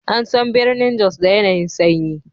An san birnin Jos da yanayi'n sanyi.